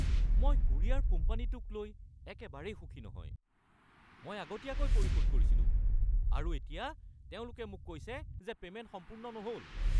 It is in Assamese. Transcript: মই কোৰিয়াৰ কোম্পানীটোক লৈ একেবাৰে সুখী নহয়। মই আগতীয়াকৈ পৰিশোধ কৰিছিলোঁ আৰু এতিয়া তেওঁলোকে মোক কৈছে যে পে'মেন্ট সম্পূৰ্ণ নহ’ল!